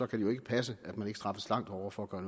det jo ikke passe at man ikke straffes langt hårdere for at gøre